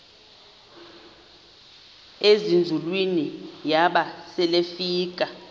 ezinzulwini waba selefika